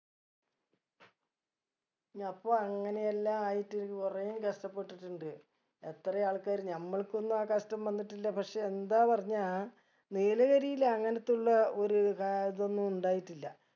നപ്പൊ അങ്ങനെയെല്ലാ ആയിട്ട് കുറേയും കഷ്ട്ടപെട്ടിണ്ട് എത്രയാ ആൾക്കാര് നമ്മൾക്കൊന്നും ആ കഷ്ട്ടം വന്നിട്ടില്ല പക്ഷെ എന്താ പറഞ്ഞാ നീലഗിരില് അങ്ങനെതുള്ള ഒരു കാ ഇതൊന്നും ഉണ്ടായിട്ടില്ല